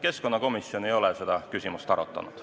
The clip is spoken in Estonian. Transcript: Keskkonnakomisjon ei ole seda küsimust arutanud.